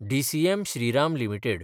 DCM Shriram limited